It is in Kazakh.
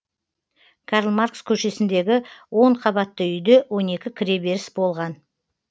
карл маркс көшесіндегі он қабатты үйде он екі кіреберіс болған